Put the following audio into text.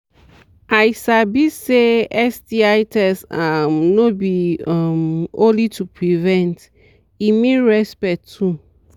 i sabi say sti test um no be um only to prevent e mean respect too